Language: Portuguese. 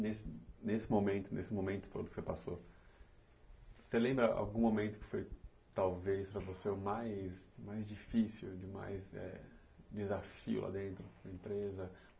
Nesse nesse momento, nesse momento todo que você passou, você lembra algum momento que foi talvez para você o mais mais difícil, o mais desafio lá dentro da empresa?